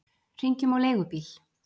Hringjum á leigubíl!